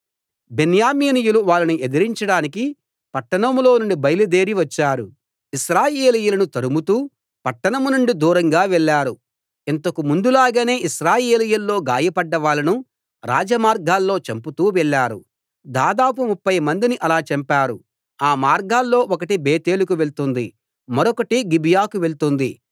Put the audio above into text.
బెన్యామీనీయులు వాళ్ళని ఎదిరించడానికి పట్టణంలో నుండి బయలుదేరి వచ్చారు ఇశ్రాయేలీయులను తరుముతూ పట్టణం నుండి దూరంగా వెళ్ళారు ఇంతకు ముందులాగానే ఇశ్రాయేలీయుల్లో గాయపడ్డవాళ్ళను రాజ మార్గాల్లో చంపుతూ వెళ్ళారు దాదాపు ముప్ఫై మందిని అలా చంపారు ఆ మార్గాల్లో ఒకటి బేతేలుకు వెళ్తుంది మరొకటి గిబియాకు వెళ్తుంది